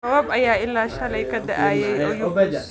Roobab ayaa ilaa shalay ka da'ayay Oyugis